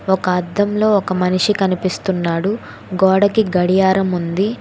ఒక అద్దంలో ఒక మనిషి కనిపిస్తున్నాడు గోడకి గడియారం ఉంది.